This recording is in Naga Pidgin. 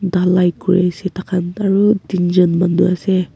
dhalai kuri se tha kha aru tinjon manu ase.